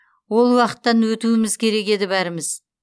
ол уақыттан өтуіміз керек еді бәріміз